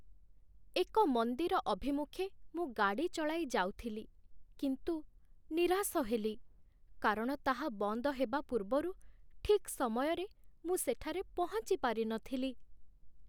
ଏକ ମନ୍ଦିର ଅଭିମୁଖେ ମୁଁ ଗାଡ଼ି ଚଳାଇ ଯାଉଥିଲି, କିନ୍ତୁ ନିରାଶ ହେଲି, କାରଣ ତାହା ବନ୍ଦ ହେବା ପୂର୍ବରୁ ଠିକ୍ ସମୟରେ ମୁଁ ସେଠାରେ ପହଞ୍ଚି ପାରିନଥିଲି।